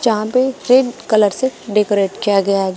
यहां पे red colour से डेकोरेट किया गया है।